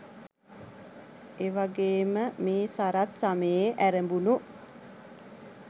එවගේම මේ සරත් ස‍මයේ ඇරඹුණු